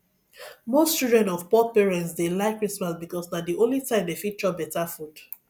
most children of poor parents dey like christmas because na the only time dem fit chop better food